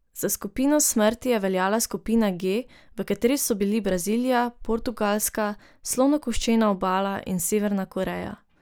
Za skupino smrti je veljala skupina G, v kateri so bili Brazilija, Portugalska, Slonokoščena obala in Severna Koreja.